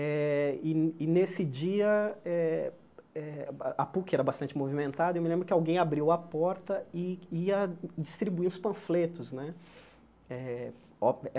Eh e e, nesse dia, eh eh a Puc era bastante movimentada e eu me lembro que alguém abriu a porta e ia distribuir os panfletos né eh.